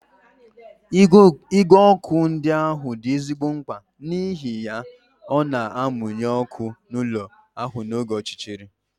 Igwe ọkụ ndị ahụ dị ezigbo mkpa n'ihi ya ọ na-amụnye ọnụ ụlọ ahụ n'oge ọchịchịrị.